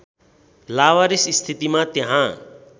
लावारिस स्थितिमा त्यहाँ